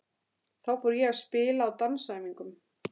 Þá fór ég að spila á dansæfingum.